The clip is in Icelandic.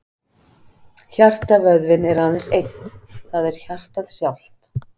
Hjartavöðvinn er aðeins einn, það er hjartað sjálft.